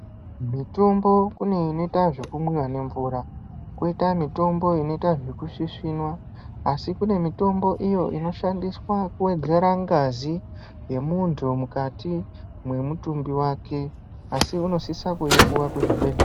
Mitombo kune inoita zvekunwiwa nemvura, koita mitombo inoita zvekusvisvinwa. Asi kunemitombo iyo inoshandiswa kuwedzera ngazi yemuntu mukati memutumbi wake asi unosisa kuyipuwa kuzvibhedlera.